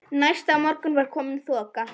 Næsta morgun var komin þoka.